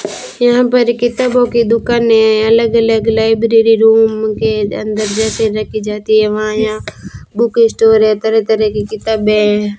यहां पर किताबों की दुकान है अलग अलग लाइब्रेरी रूम के अंदर जैसे रखी जाती है वहां यहां बुक स्टोर है तरह तरह की किताबें हैं।